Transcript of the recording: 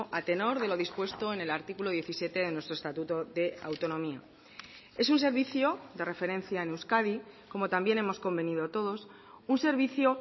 a tenor de lo dispuesto en el artículo diecisiete en nuestro estatuto de autonomía es un servicio de referencia en euskadi como también hemos convenido todos un servicio